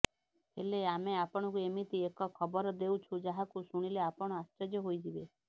ହେଲେ ଆମେ ଆପଣଙ୍କୁ ଏମିତି ଏକ ଖବର ଦେଉଛୁ ଯାହାକୁ ଶୁଣିଲେ ଆପଣ ଆଶ୍ଚର୍ଯ୍ୟ ହୋଇଯିବେ